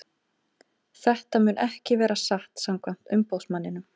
Þetta mun ekki vera satt samkvæmt umboðsmanninum.